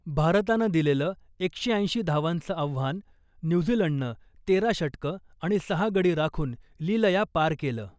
भारतानं दिलेलं एकशे ऐंशी धावांचं आव्हान न्यूझीलंडनं तेरा षटकं आणि सहा गडी राखून लिलया पार केलं .